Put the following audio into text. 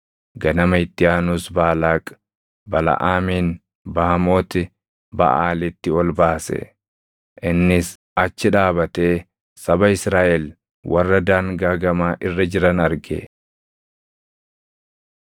Ganama itti aanus Baalaaq, Balaʼaamin Baamooti Baʼaalitti ol baase; innis achi dhaabatee saba Israaʼel warra daangaa gamaa irra jiran arge.